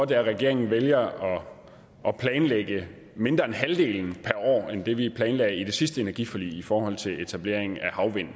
det er regeringen vælger at planlægge mindre end halvdelen per år end det vi planlagde i det sidste energiforlig i forhold til etablering af